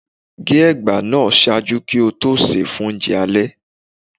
ge egba naa ṣaaju ki o to se fun ounjẹ alẹ